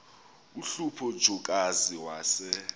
uhlupho jokazi wase